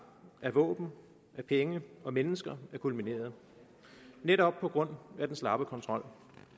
våben penge og mennesker er kulmineret netop på grund af den slappe kontrol